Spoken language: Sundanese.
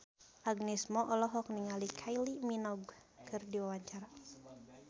Agnes Mo olohok ningali Kylie Minogue keur diwawancara